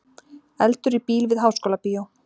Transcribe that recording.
Eldur í bíl við Háskólabíó